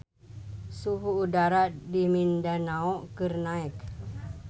Suhu udara di Mindanao keur naek